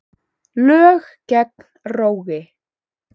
Lög gegn rógi